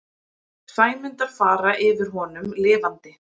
Sæmundar fara yfir honum lifandi.